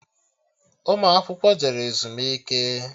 Ụmụ akwụkwọ jere ezumike